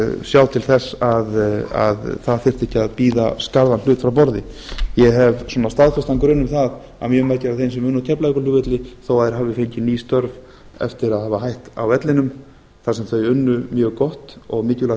sjá til þess að að þyrfti ekki að bíða skarðan hlut frá borði ég hef staðfestan grun um það að mjög margir þeirra sem unnu á keflavíkurflugvelli þó þeir hafi fengið ný störf eftir að hafa hætt á vellinum þar sem þeir unnu mjög gott og mikilvægt